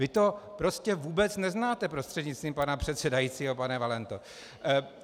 Vy to prostě vůbec neznáte, prostřednictvím pana předsedajícího pane Valento.